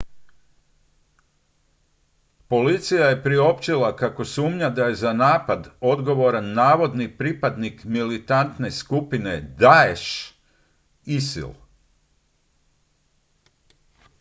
policija je priopćila kako sumnja da je za napad odgovoran navodni pripadnik militantne skupine daesh isil